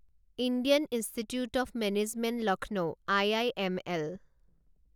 Indian institute of management Lucknow IIML